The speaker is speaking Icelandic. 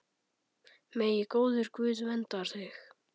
Megi góður Guð vernda þig.